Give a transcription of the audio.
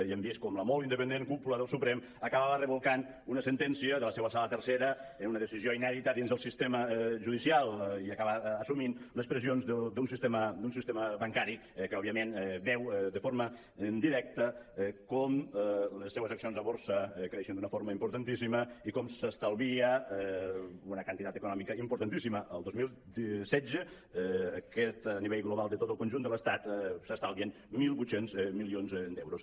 i hem vist com la molt independent cúpula del su·prem acabava revocant una sentència de la seua sala tercera en una decisió inèdita dins del sistema judicial i acaba assumint les pressions d’un sistema bancari que òbviament veu de forma directa com les seues accions a borsa creixen d’una forma importantíssima i com s’estalvia una quantitat econòmica importantíssima el dos mil setze aquest nivell global de tot el conjunt de l’estat s’estalvien mil vuit cents milions d’euros